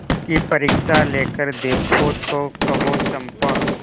उसकी परीक्षा लेकर देखो तो कहो चंपा